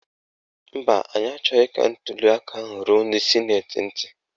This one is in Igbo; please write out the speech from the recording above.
Mba, anyị achọghị ka ntuliaka ahụ ruo ndị sịnetị ntị.